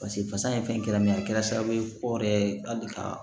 Paseke fasa ye fɛn kɛra min ye a kɛra sababu ye o yɛrɛ ye hali ka